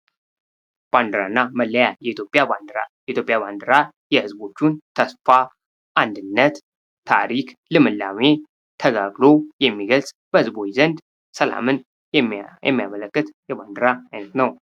ባንድራ እና መላያ፦ የኢትዮጵያ ባንድራ፦ የኢትዮጵያ ባንድራ የህዝቦቹን፣ ተስፋ፣ አንድነት፣ ታሪክ፣ ልምላሜ፣ ተጋድሎን የሚገልጽ በህዝቦች ዘንድ ሰላምን የሚያመለክት የባንድራ አይነት ነው።